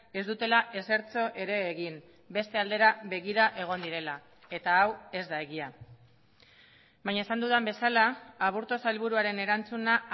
ez dutela ezertxo ere egin beste aldera begira egon direla eta hau ez da egia baina esan dudan bezala aburto sailburuaren erantzuna